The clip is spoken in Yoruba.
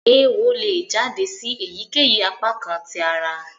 Eéwo le jáde sì èyíkéyìí apakan tí àrà.